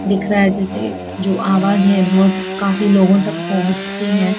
दिख रहा है जैसे जो आवाज है बहुत काफी लोगों तक पहुंचती है।